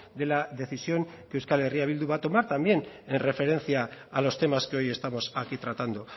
de la decisión que euskal herria bildu va a tomar también en referencia a los temas que hoy estamos aquí tratando